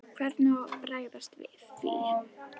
Hvernig á að bregðast við því?